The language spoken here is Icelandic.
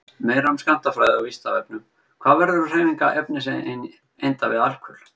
Meira um skammtafræði á Vísindavefnum: Hvað verður um hreyfingar efniseinda við alkul?